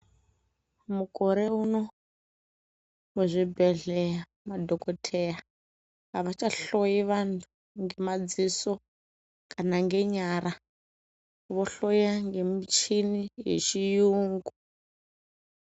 Mukore uno muzvibhedhleya madhokodheya avachahloi vantu ngemadziso kana nge nyara vohloya ngemuchini yechiyungu.